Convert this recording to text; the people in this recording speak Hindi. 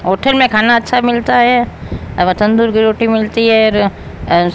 होटल में खाना अच्छा मिलता है एव तंदूर की रोटी मिलती है और--